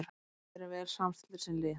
Við erum vel samstilltir sem lið.